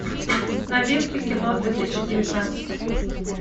новинки кино две тысячи девятнадцать